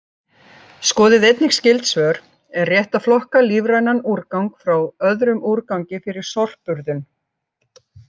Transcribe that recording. Skoðið einnig skyld svör: Er rétt að flokka lífrænan úrgang frá öðrum úrgangi fyrir sorpurðun?